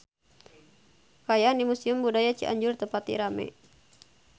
Kaayaan di Museum Budaya Cianjur teu pati rame